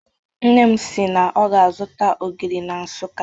Nne m si na ọ ga-azụta ogiri na Nsụka.